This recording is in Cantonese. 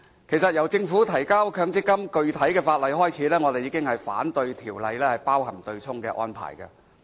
其實，由政府提交強積金的具體法例開始，我們已反對法例包含對沖安排。